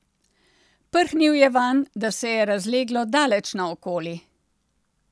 Prhnil je vanj, da se je razleglo daleč naokoli.